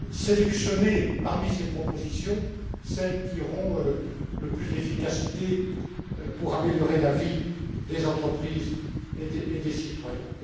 sélectionner parmi ces propositions celles qui auront le plus d'efficacité pour améliorer la vie des entreprises et des citoyens.